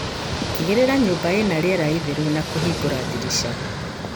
Tigĩrĩra nyumba ĩna riera itheru na kũhingura ndirisha.